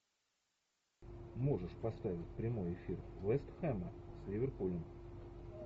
можешь поставить прямой эфир вест хэма с ливерпулем